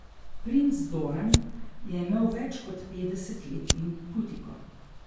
Princ Doran je imel več kot petdeset let in putiko.